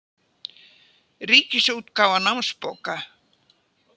Ríkisútgáfa námsbóka.